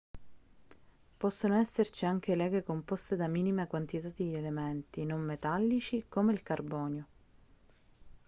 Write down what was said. possono esserci anche leghe composte da minime quantità di elementi non metallici come il carbonio